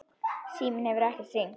Síminn hefur ekkert hringt.